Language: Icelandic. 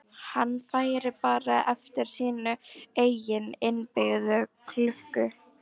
Hann færi bara eftir sinni eigin innbyggðu klukku.